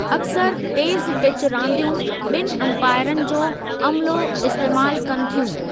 अक्सर तेज़ पिच रानदीयूं ॿिनि अमपाइरनि जो अम्लो इस्तेमाल कनि थियूं।